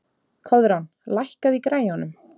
Koðrán, lækkaðu í græjunum.